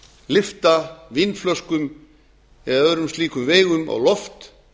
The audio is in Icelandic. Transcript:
lyfta vínflöskum eða öðrum slíkum veigum á loft